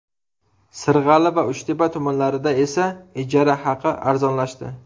Sirg‘ali va Uchtepa tumanlarida esa ijara haqi arzonlashdi.